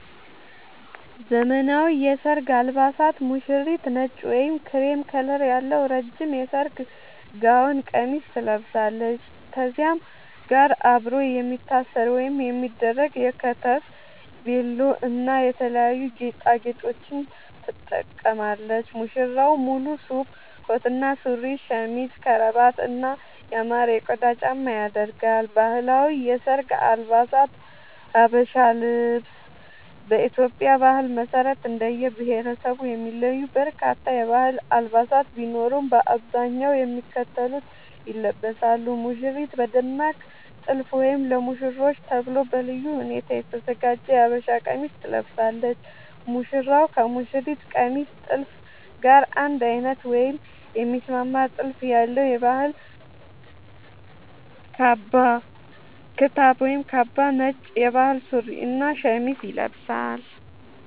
ዘመናዊ የሰርግ አልባሳት ሙሽሪት: ነጭ ወይም ክሬም ከለር ያለው ረጅም የሰርግ ጋውን (ቀሚስ) ትለብሳለች። ከዚህም ጋር አብሮ የሚታሰር ወይም የሚደረግ የከተፍ (ቬሎ) እና የተለያዩ ጌጣጌጦችን ትጠቀማለች። ሙሽራው: ሙሉ ሱፍ (ኮት እና ሱሪ)፣ ሸሚዝ፣ ከረባት እና ያማረ የቆዳ ጫማ ያደርጋል። ባህላዊ የሰርግ አልባሳት (ሀበሻ ልብስ) በኢትዮጵያ ባህል መሰረት እንደየብሄረሰቡ የሚለዩ በርካታ የባህል አልባሳት ቢኖሩም፣ በአብዛኛው የሚከተሉት ይለበሳሉ - ሙሽሪት: በደማቅ ጥልፍ ወይም ለሙሽሮች ተብሎ በልዩ ሁኔታ የተዘጋጀ የሀበሻ ቀሚስ ትለብሳለች። ሙሽራው: ከሙሽሪት ቀሚስ ጥልፍ ጋር አንድ አይነት ወይም የሚስማማ ጥልፍ ያለው የባህል ክታብ (ካባ)፣ ነጭ የባህል ሱሪ እና ሸሚዝ ይለብሳል።